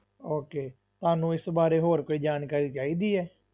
Okay ਤੁਹਾਨੂੰ ਇਸ ਬਾਰੇ ਹੋਰ ਕੋਈ ਜਾਣਕਾਰੀ ਚਾਹੀਦੀ ਹੈ?